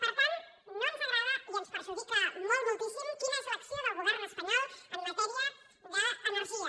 per tant no ens agrada i ens perjudica molt moltíssim l’acció del govern espanyol en ma·tèria d’energia